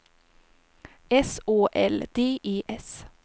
S Å L D E S